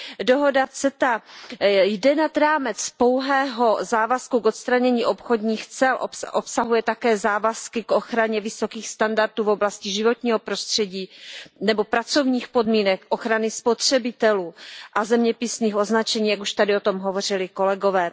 Dohoda CETA jde nad rámec pouhého závazku k odstranění obchodních cel. Obsahuje také závazky k ochraně vysokých standardů v oblasti životního prostředí nebo pracovních podmínek, ochrany spotřebitelů a zeměpisných označení, jak už tady o tom hovořili kolegové.